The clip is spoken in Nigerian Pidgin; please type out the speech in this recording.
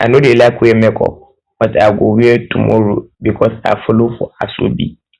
i no dey like wear makeup but i go wear i go wear tomorrow because i follow for asoebi